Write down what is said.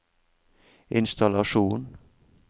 innstallasjon